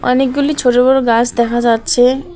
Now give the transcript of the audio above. অনেকগুলি ছোট বড় গাছ দেখা যাচ্চে এক--